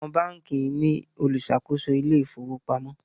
Àwọn bánkì ní oluṣakoso Ilé ìfowópamọ́.